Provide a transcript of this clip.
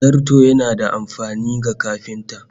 Zarto yana da amfani ga kafinta